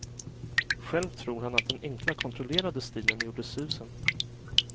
Själv tror han att den enkla, kontrollerade stilen gjorde susen.